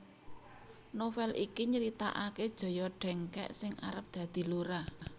Novel iki nyritaake Joyo Dengkek sing arep dadi lurah